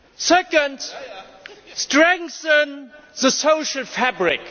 Secondly, strengthen the social fabric.